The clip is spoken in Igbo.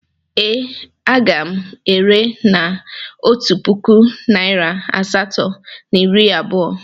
Ee, a ga m ere na otu puku naịra asatọ na iri abụọ.